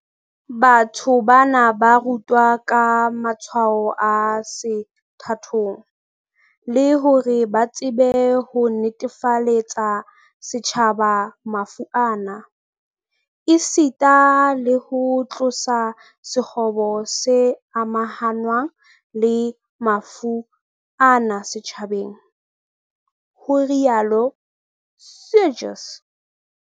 "Batho bana ba rutwa ka matshwao a sethathong, le hore ba tsebe ho netefaletsa setjhaba mafu ana, esita le ho tlosa sekgobo se amahanngwang le mafu ana setjhabeng", ho rialo Seegers